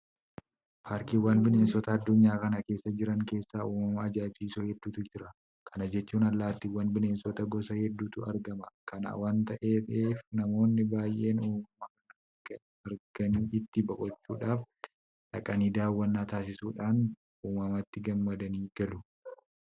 Paarkiiwwan bineensotaa addunyaa kana keessa jiran keessa uumama ajaa'ibsiisoo hedduutu jira. Kana jechuun allaattiiwwaniifi bineensota gosa hedduutu argama. Kana waanta ta'eef namoonni baay'een uumama kana arganii itti boqochuudhaaf dhaqanii daawwannaa taasisuudhaan uumamatti gammadanii galu.